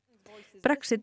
Brexit er